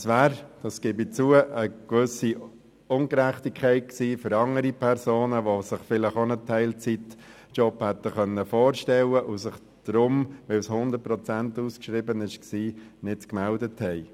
Das wäre – das gebe ich zu – gegenüber anderen Personen ungerecht, die sich vielleicht auch einen Teilzeitjob hätten vorstellen können, sich jedoch nicht gemeldet hatten, weil die Stelle mit 100 Prozent ausgeschrieben war.